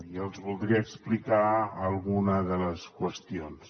i els voldria explicar alguna de les qüestions